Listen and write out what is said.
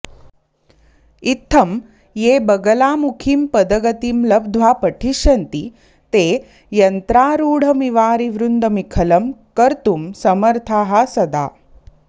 इत्थं ये बगलामुखीं पदगतिं लब्ध्वा पठिष्यन्ति ते यन्त्रारूढमिवारिवृन्दमीखलं कर्त्तुं समर्थांः सदा